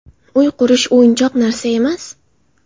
Uy qurish o‘yinchoq narsa emas.